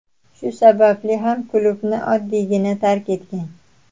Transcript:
Shu sababli ham klubni oddiygina tark etgan.